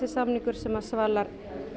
samningur sem svalar